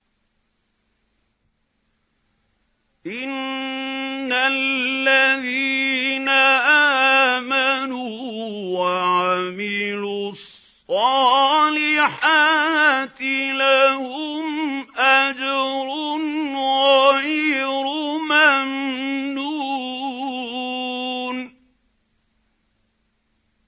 إِنَّ الَّذِينَ آمَنُوا وَعَمِلُوا الصَّالِحَاتِ لَهُمْ أَجْرٌ غَيْرُ مَمْنُونٍ